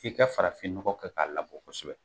F'i ka farafin ɲɔgɔ kɛ k'a labɔ kosɛbɛ